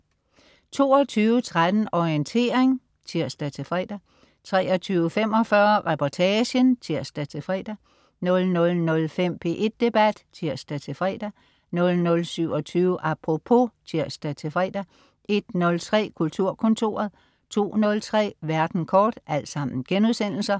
22.13 Orientering* (tirs-fre) 23.45 Reportagen* (tirs-fre) 00.05 P1 Debat* (tirs-fre) 00.27 Apropos* (tirs-fre) 01.03 Kulturkontoret* 02.03 Verden kort*